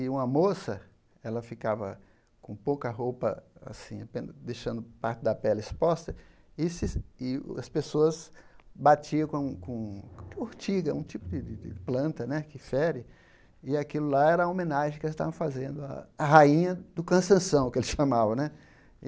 E uma moça, ela ficava com pouca roupa assim ape, deixando parte da pele exposta, e se e as pessoas batiam com com com ortiga, um tipo de de de planta né que fere, e aquilo lá era a homenagem que elas estavam fazendo, a rainha do cansanção, que eles chamavam né.